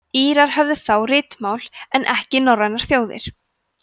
írar höfðu þá ritmál en ekki norrænar þjóðir